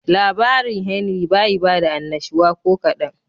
Labarin Henry bayi bada annashuwa kokadan.